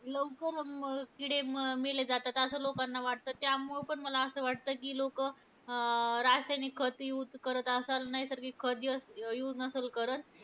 लवकर म किडे म मेले जातात असं लोकांना वाटतं. त्यामुळं पण मला असं वाटतं की लोकं अं रासायनिक खत use करत असंल, नैसर्गिक खत use नसंल करत.